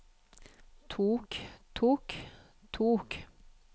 tok tok tok